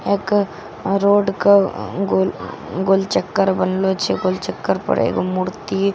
एक रोड के गोल-गोल चक्कर बनलो छे गोल चक्कर पर एगो मूर्ति --